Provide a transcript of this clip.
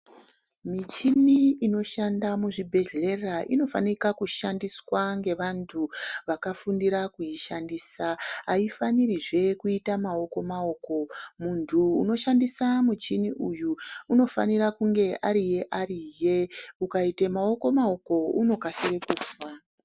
Michini inoshanda muzvibhehhlera inofanika kushandiswa ngevantu vakafundira kuishandisa, haifanirizve kuita maoko-maoko. Muntu unoshandisa muchini uyu unofanira kunge ariye-ariye. Ukaite maoko-maoko unokasire kufa.